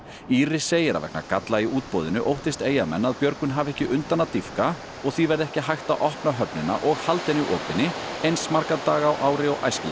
Íris segir að vegna galla í útboðinu óttist Eyjamenn að björgun hafi ekki undan að dýpka og því verði ekki hægt opna höfnina og halda henni opinni eins marga daga á ári og æskilegt